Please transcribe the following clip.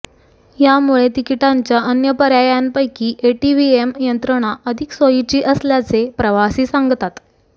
यामुळे तिकिटांच्या अन्य पर्यायांपैकी एटीव्हीएम यंत्रणा अधिक सोयीची असल्याचे प्रवासी सांगतात